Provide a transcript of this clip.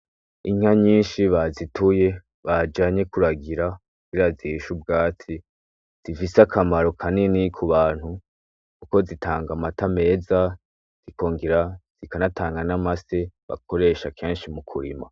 Inka nyinshi bazituye bajanye kuragira ziishe ubwatsi , zifise akamaro kanini, kubantu kuko zitanga amata meza ikongera ikanatanga n'amase bakoresha kenshi mukurima